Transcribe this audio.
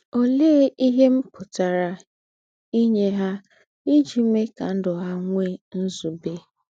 Òléè íhe m pụ̀tàrà ínyè ha íjí méè kà ndụ́ ha nwèè ǹzùbè?